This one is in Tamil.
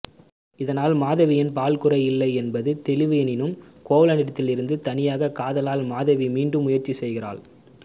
இதனால் மாதவியின் பால் குறை இல்லை என்பது தெளிவு எனினும் கோவலனிடத்திலிருந்த தனியாக் காதலால் மாதவி மீண்டும் முயற்சி செய்கிறாள்